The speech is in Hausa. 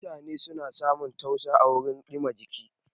Mutane na samun tausa à wurin dìma jiki.